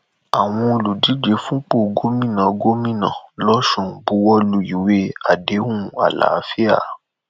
àwọn olùdíje fúnpọ gómìnà gómìnà losùn buwọ lu ìwé àdéhùn àlàáfíà